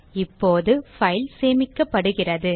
இப்போது பைல் சேமிக்கப்படுகிறது